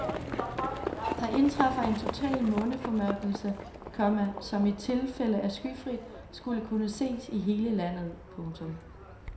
Der indtræffer en total måneformørkelse, komma som i tilfælde af skyfrit skulle kunne ses i hele landet. punktum